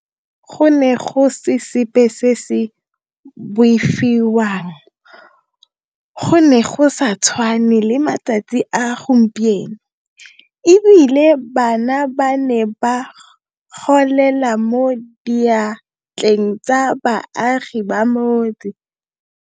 Go ne go se sepe se se boifiwang, go ne go sa tshwane le matsatsi a gompieno, e bile bana ba ne ba golela mo diatleng tsa baagi ba motse.